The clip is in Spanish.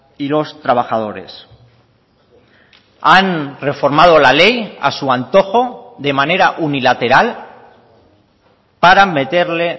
y los trabajadores han reformado la ley a su antojo de manera unilateral para meterle